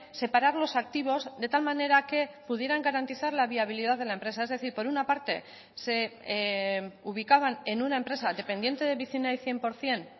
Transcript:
separar los activos de tal manera que pudieran garantizar la viabilidad de la empresa es decir por una parte se ubicaban en una empresa dependiente de vicinay cien por ciento